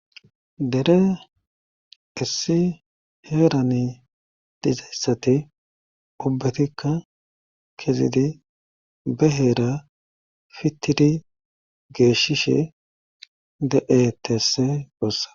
dere issi heerani dizayssati ubbatikka kezidi beheera fittidi geeshishe de7eteese duossa